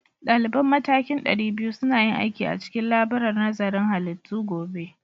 Daliban matakin ɗari biyu suna yin aiki a cikin laburar nazarin halittu gobe